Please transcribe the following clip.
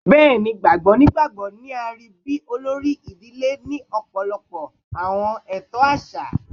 Bẹẹni, baba nigbagbogbo ni a rii bi olori idile ni ọpọlọpọ awọn eto aṣa